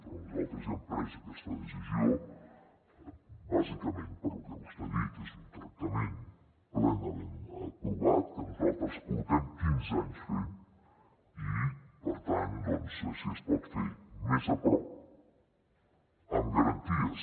però nosaltres ja hem pres aquesta decisió bàsicament per lo que vostè ha dit és un tractament plenament provat que nosaltres portem quinze anys fent i per tant si es pot fer més a prop amb garanties